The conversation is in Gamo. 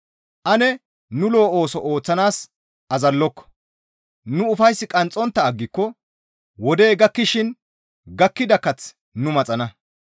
Ane nu lo7o ooso ooththanaas azalloko; nu ufays qanxxontta aggiko wodey gakkishin gakkida kath nu maxana.